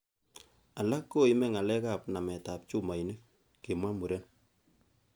'Alak koime ngalekab naametab chumoinik,"kimwa Muren